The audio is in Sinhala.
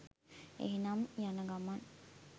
එහෙනම් යනගමන්